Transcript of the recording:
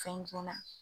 Fɛn juma